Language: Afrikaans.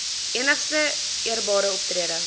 enigste eerbare optrede